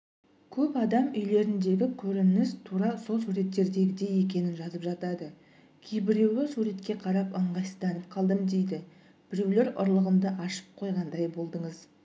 көп адам үйлеріндегі көрініс тура сол суреттердегідей екенін жазып жатады кейбіреуі суретке қарап ыңғайсызданып қалдым дейді біреулер ұрлығымды ашып қойғандай болдыңыз